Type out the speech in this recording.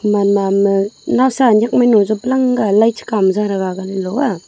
mannam ae nawsa ae nyak mihnu ae jop lang ga lai che kha ma za taga loh ah.